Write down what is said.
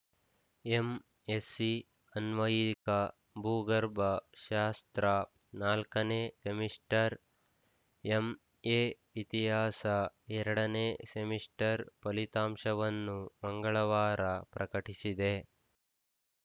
MSc ಅನ್ವಯಿಕ ಭೂಗರ್ಭ ಶಾಸ್ತ್ರ ನಾಲ್ಕನೇ ಸೆಮಿಸ್ಟರ್‌ ಎಂಎಇತಿಹಾಸ ಎರಡ ನೇ ಸೆಮಿಸ್ಟರ್‌ ಫಲಿತಾಂಶವನ್ನು ಮಂಗಳವಾರ ಪ್ರಕಟಿಸಿದೆ